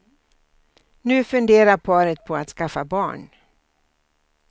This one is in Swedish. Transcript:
Nu funderar paret på att skaffa barn.